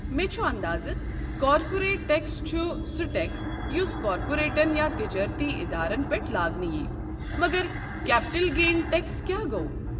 مےٚ چھُ اندازٕ کارپوریٹ ٹٮ۪کس چھُ سہُ ٹٮ۪کس یُس کارپوریٹن یا تجارتی ادارن پٮ۪ٹھ لاگنہٕ ییہِ، مگر کیپٹل گین ٹٮ۪کس کیٛاہ گوٚو؟